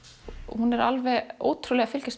hún er alveg ótrúleg að fylgjast